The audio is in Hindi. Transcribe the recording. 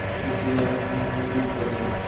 कुछ याद उन्हें भी कर लो